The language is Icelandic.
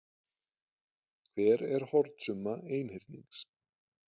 hver er hornasumma einhyrnings